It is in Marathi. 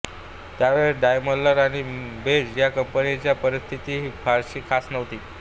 त्यावेळेस डायमलर आणि बेंझ या कंपन्यांची परीस्थितीही फारशी खास नव्हती